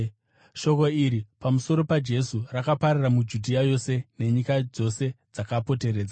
Shoko iri pamusoro paJesu rakapararira muJudhea yose nenyika dzose dzakapoteredza.